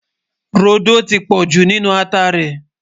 rodò tí pojú nínú àtá rè